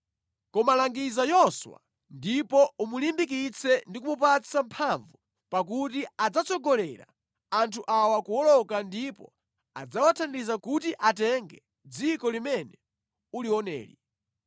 Koma langiza Yoswa ndipo umulimbikitse ndi kumupatsa mphamvu pakuti adzatsogolera anthu awa kuwoloka ndipo adzawathandiza kuti atenge dziko limene ulioneli.”